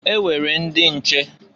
E nwere ndị nche!